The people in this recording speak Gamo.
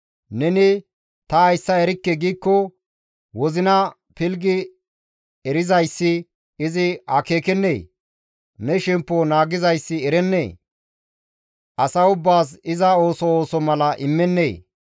Neni, «Ta hayssa erikke» giikko, wozina pilggi erizayssi izi akeekennee? Ne shemppo naagizayssi erennee? As ubbaas iza ooso ooso mala immennee?